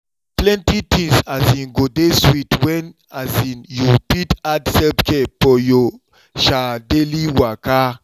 plenty tins um go dey sweet when um you fit add self-care for your um daily waka.